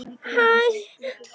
Hún færir sig úr stað.